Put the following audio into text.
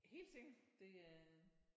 Helt sikkert det øh